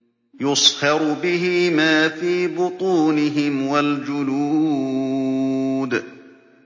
يُصْهَرُ بِهِ مَا فِي بُطُونِهِمْ وَالْجُلُودُ